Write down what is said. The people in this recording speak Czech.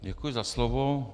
Děkuji za slovo.